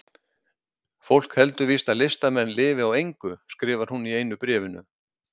Fólk heldur víst að listamenn lifi á engu, skrifar hún í einu bréfinu.